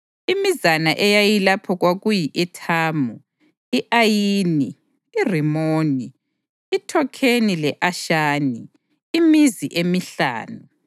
Imizana eyayilapho kwakuyi-Ethamu, i-Ayini, iRimoni, iThokheni le-Ashani, imizi emihlanu